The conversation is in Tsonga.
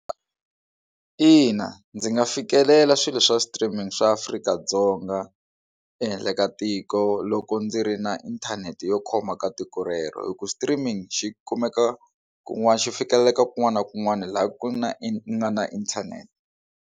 Ina, ndzi nga fikelela swilo swa streaming swa Afrika-Dzonga ehenhla ka tiko loko ndzi ri na inthanete yo khoma ka tiko rero hi ku streaming xi kumeka kun'wana xi fikeleleka kun'wana na kun'wana laha ku na ku nga na inthanete.